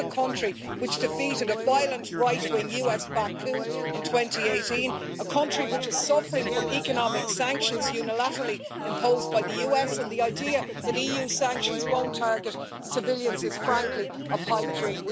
This is a country which defeated a violent, right wing US backed coup in 2018, a country which is suffering from economic sanctions unilaterally imposed by the US, and the idea that EU sanctions won't target civilians is, frankly, a pipe dream.